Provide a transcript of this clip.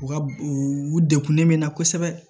U ka u u u degunnen bɛ n na kosɛbɛ